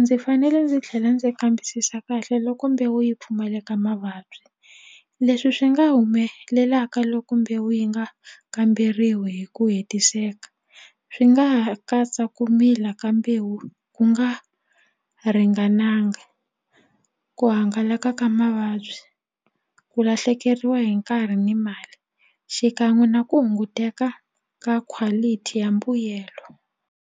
ndzi fanele ndzi tlhela ndzi kambisisa kahle loko mbewu yi pfumaleka mavabyi leswi swi nga humelelaka loko mbewu yi nga kamberiwi hi ku hetiseka swi nga ha katsa ku mila ka mbewu ku nga ringananga ku hangalaka ka mavabyi ku lahlekeriwa hi nkarhi ni mali xikan'we na ku hunguteka ka quality ya mbuyelo.